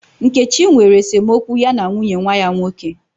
Nkechi nwere esemokwu ya na nwunye nwa ya nwoke.